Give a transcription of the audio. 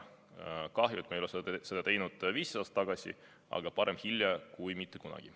Kahju, et me ei teinud seda 15 aastat tagasi, aga parem hilja kui mitte kunagi.